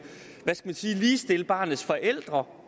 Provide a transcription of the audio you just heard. ligestille barnets forældre